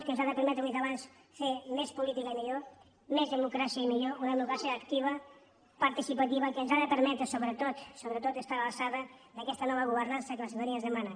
que ens ha de permetre ho he dit abans fer més política i millor més democràcia i millor una democràcia activa participativa que ens ha de permetre sobretot sobretot estar a l’alçada d’aquesta nova governança que la ciutadania ens demana